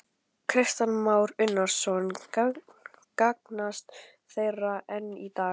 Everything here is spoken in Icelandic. Kristján Már Unnarsson: Gagnast þær enn í dag?